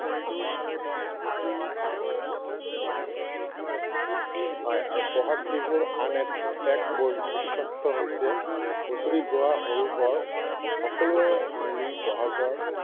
এবিধ শাক খোৱাৰ নিয়ম আছে। হয় আৰু বহাগ বিহুৰ আন এটা বিশেষত্ব হৈছে হুঁচৰি গোৱা সৰু বৰ সকলোৱে মিলি বহাগৰ